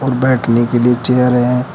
और बैठने के लिए चेयर है।